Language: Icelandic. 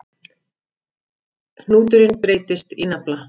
Hnúturinn breytist í nafla.